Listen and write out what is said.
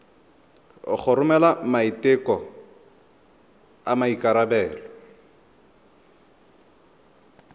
go romela maiteko a maikarebelo